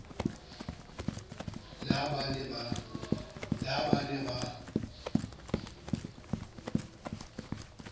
le ha ba ne ba